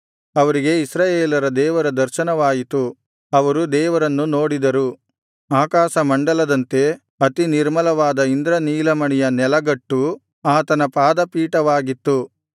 ಅವರಿಗೆ ಇಸ್ರಾಯೇಲರ ದೇವರ ದರ್ಶನವಾಯಿತು ಅವರು ದೇವರನ್ನು ನೋಡಿದರು ಆಕಾಶಮಂಡಲದಂತೆ ಅತಿ ನಿರ್ಮಲವಾದ ಇಂದ್ರನೀಲಮಣಿಯ ನೆಲಗಟ್ಟು ಆತನ ಪಾದಪೀಠವಾಗಿತ್ತು